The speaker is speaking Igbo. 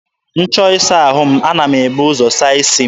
M chọọ ịsa ahụ m, ana m ebu ụzọ saa isi m.